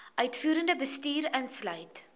uitvoerende bestuur insluit